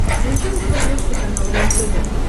включи на смотрешке канал рентв